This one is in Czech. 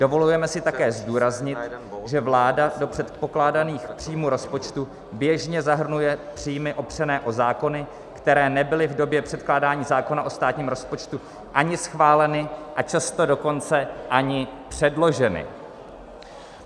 Dovolujeme si také zdůraznit, že vláda do předpokládaných příjmů rozpočtu běžně zahrnuje příjmy opřené o zákony, které nebyly v době předkládání zákona o státním rozpočtu ani schváleny, a často dokonce ani předloženy.